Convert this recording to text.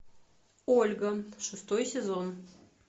ольга шестой сезон